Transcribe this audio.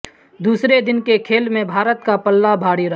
دوسرے دن کے کھیل میں بھارت کا پلہ بھاری رہا